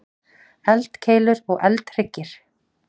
Eldkeilur og eldhryggir.